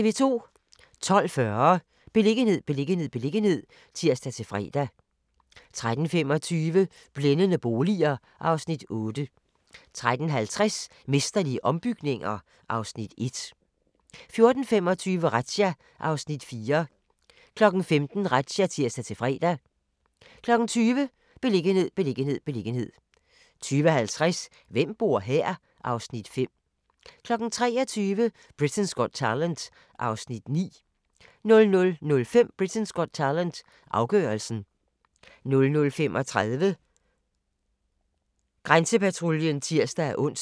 12:40: Beliggenhed, beliggenhed, beliggenhed (tir-fre) 13:25: Blændende boliger (Afs. 8) 13:50: Mesterlige ombygninger (Afs. 1) 14:25: Razzia (Afs. 4) 15:00: Razzia (tir-fre) 20:00: Beliggenhed, beliggenhed, beliggenhed 20:50: Hvem bor her? (Afs. 5) 23:00: Britain's Got Talent (Afs. 9) 00:05: Britain's Got Talent - afgørelsen 00:35: Grænsepatruljen (tir-ons)